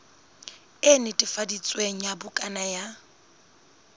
e netefaditsweng ya bukana ya